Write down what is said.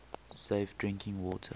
safe drinking water